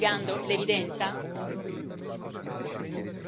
Quindi io le chiedo non state negando l'evidenza?